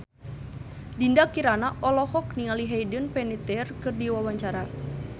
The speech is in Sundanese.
Dinda Kirana olohok ningali Hayden Panettiere keur diwawancara